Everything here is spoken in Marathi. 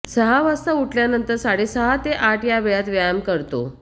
सहा वाजता उठल्यानंतर साडेसहा ते आठ या वेळात व्यायाम करतो